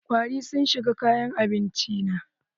Kwari sun shiga kayan abinci na.